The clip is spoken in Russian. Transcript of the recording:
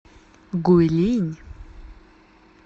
гуйлинь